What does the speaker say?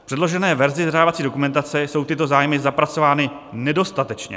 V předložené verzi zadávací dokumentace jsou tyto zájmy zapracovány nedostatečně.